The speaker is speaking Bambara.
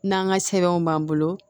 N'an ka sɛbɛnw b'an bolo